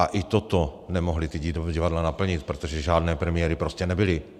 A ani toto nemohla ta divadla naplnit, protože žádné premiéry prostě nebyly.